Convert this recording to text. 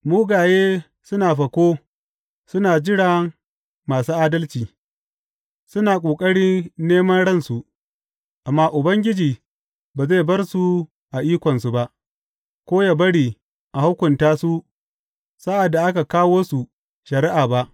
Mugaye suna fako suna jira masu adalci, suna ƙoƙari neman ransu; amma Ubangiji ba zai bar su a ikonsu ba ko ya bari a hukunta su sa’ad da aka kawo su shari’a ba.